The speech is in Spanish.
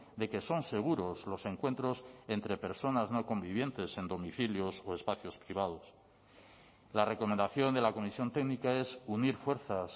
de que son seguros los encuentros entre personas no convivientes en domicilios o espacios privados la recomendación de la comisión técnica es unir fuerzas